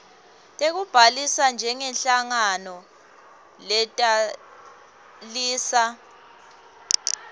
tekubhalisa njengenhlangano letalisa